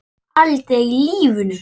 Aldrei í lífinu!